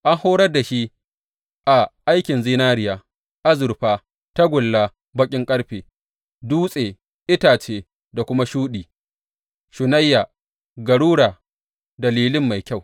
An horar da shi a aikin zinariya, azurfa, tagulla, baƙin ƙarfe, dutse, itace, da kuma shuɗi, shunayya, garura, da lilin mai kyau.